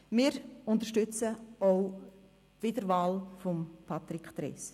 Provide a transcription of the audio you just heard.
Wir unterstützen daher auch die Wiederwahl von Patrick Trees.